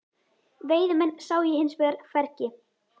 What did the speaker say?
Veiðimanninn sá ég hins vegar hvergi.